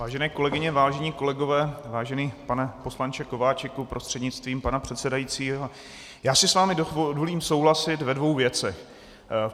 Vážené kolegyně, vážení kolegové, vážený pane poslanče Kováčiku prostřednictvím pana předsedajícího, já si s vámi dovolím souhlasit ve dvou věcech.